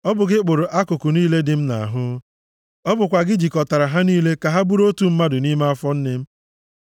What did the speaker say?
Ọ bụ gị kpụrụ akụkụ niile dị m nʼahụ. Ọ bụkwa gị jikọtara ha niile ka ha bụrụ otu mmadụ nʼime afọ nne m.